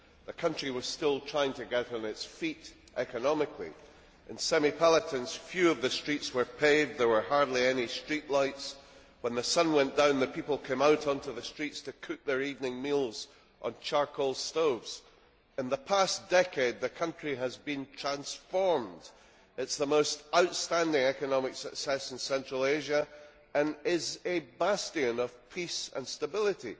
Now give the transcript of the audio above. The country was still trying to get on its feet economically. In Semipalatinsk, few of the streets were paved, and there were hardly any street lights. When the sun went down the people came out onto the streets to cook their evening meals on charcoal stoves. In the past decade, the country has been transformed. It is the most outstanding economic success in Central Asia, and is a bastion of peace and stability.